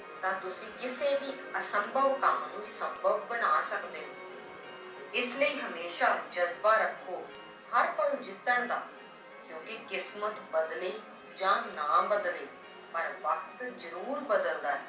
ਤਾਂ ਤੁਸੀਂ ਕਿਸੇ ਵੀ ਅਸੰਭਵ ਕੰਮ ਨੂੰ ਸੰਭਵ ਬਣਾ ਸਕਦੇ ਹੋ l ਇਸ ਲਈ ਹਮੇਸ਼ਾ ਜ਼ਜ਼ਬਾ ਰੱਖੋ ਹਰ ਪਲ ਜਿੱਤਣ ਦਾ ਕਿਉਂਕਿ ਕਿਸਮਤ ਬਦਲੇ ਜਾਂ ਨਾ ਬਦਲੇ ਪਰ ਵਕਤ ਜ਼ਰੂਰ ਬਦਲਦਾ ਹੈ।